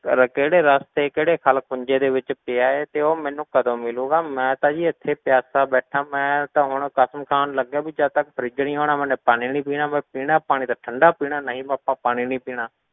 ਕਰ ਕਿਹੜੇ ਰਸਤੇ ਕਿਹੜੇ ਖੱਲ ਖੂੰਝੇ ਦੇ ਵਿੱਚ ਪਿਆ ਹੈ ਤੇ ਉਹ ਮੈਨੂੰ ਕਦੋਂ ਮਿਲੇਗਾ, ਮੈਂ ਤਾਂ ਜੀ ਇੱਥੇ ਪਿਆਸਾ ਬੈਠਾਂ, ਮੈਂ ਤਾਂ ਹੁਣ ਕਸਮ ਖਾਣ ਲੱਗਿਆਂ ਵੀ ਜਦ ਤੱਕ fridge ਨੀ ਆਉਣਾ ਮੈਨੇ ਪਾਣੀ ਨੀ ਪੀਣਾ, ਮੈਂ ਪੀਣਾ ਪਾਣੀ ਤਾਂ ਠੰਢਾ ਪੀਣਾ ਨਹੀਂ ਆਪਾਂ ਪਾਣੀ ਨੀ ਪੀਣਾ,